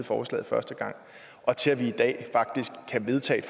forslaget første gang og til at man i dag faktisk kan vedtage